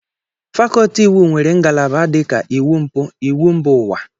Fakolti Iwu nwere ngalaba dịka iwu mpụ, iwu mba ụwa, wdg.